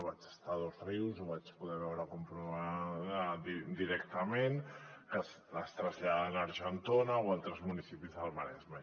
vaig estar dosrius ho vaig poder veure comprovar directament que es traslladen a argentona o a altres municipis del maresme